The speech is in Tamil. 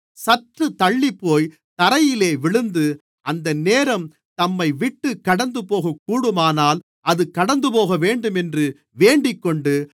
சற்று தள்ளிப்போய் தரையிலே விழுந்து அந்த நேரம் தம்மைவிட்டுக் கடந்துபோகக்கூடுமானால் அது கடந்துபோகவேண்டும் என்று வேண்டிக்கொண்டு